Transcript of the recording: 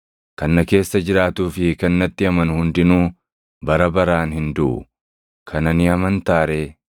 kan na keessa jiraatuu fi kan natti amanu hundinuu bara baraan hin duʼu. Kana ni amantaa ree?”